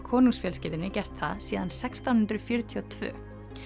konungsfjölskyldunni gert það síðan sextán hundruð fjörutíu og tvö